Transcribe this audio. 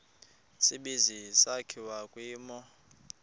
tsibizi sakhiwa kwimo